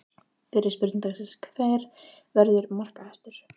Fyrri spurning dagsins: Hver verður markahæstur?